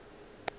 ge e le gore go